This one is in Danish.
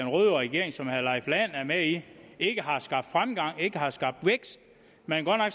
røde regering som herre leif lahn jensen er med i ikke har skabt fremgang ikke har skabt vækst man har